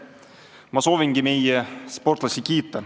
Ma soovingi kiita meie sportlasi.